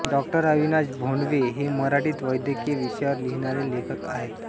डॉ अविनाश भोंडवे हे मराठीत वैद्यकीय विषयांवर लिहिणारे लेखक आहेत